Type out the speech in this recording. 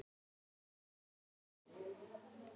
Fúsi rauk upp.